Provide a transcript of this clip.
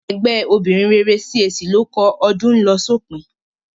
Ẹgbẹ́ obìnrin rere CAC ló kọ "Ọdún ń lọ sópin"